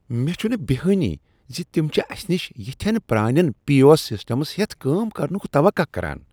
مےٚ چھنہٕ بیہانٕے ز تم چھ اسہ نش یتھین پرٛانین پی او ایس سسٹم ہیتھ کٲم کرنک توقع کران۔